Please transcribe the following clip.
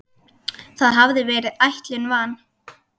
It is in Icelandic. Það hafði verið ætlun van